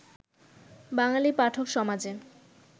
বাঙালি পাঠকসমাজে